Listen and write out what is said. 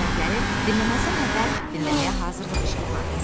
Əsərləri dinləməzdən əvvəl dinləməyə hazırlıq işi apar.